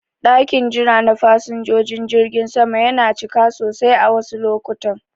Ɗakin jira na fasinjojin jirgin sama yana cika sosai a wasu lokutan.